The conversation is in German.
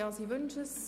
– Das ist der Fall.